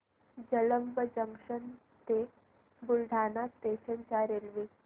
Jalamb junction ते Buldhana station च्या railway